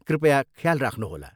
कृपया ख्याल राख्नुहोला।